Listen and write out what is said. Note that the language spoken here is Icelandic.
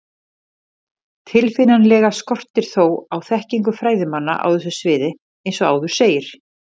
Tilfinnanlega skortir þó á þekkingu fræðimanna á þessu sviði eins og áður segir.